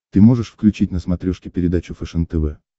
ты можешь включить на смотрешке передачу фэшен тв